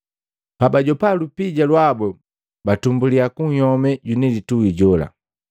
Pabajopa lupija lwabu, batumbuliya kunhyome jwinilitui jola.